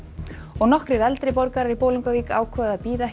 nokkrir eldri borgarar í Bolungarvík ákváðu að bíða ekki